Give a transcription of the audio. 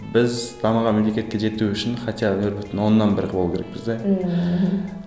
біз дамыған мемлекетке жету үшін хотя бы нөл бүтін оннан бір қылып алу керекпіз де мхм